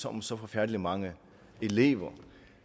om så forfærdelig mange elever